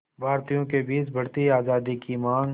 भारतीयों के बीच बढ़ती आज़ादी की मांग